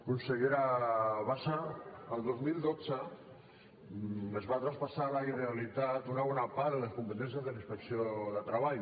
consellera bassa el dos mil dotze es va traspassar a la generalitat una bona part de les competències de la inspecció de treball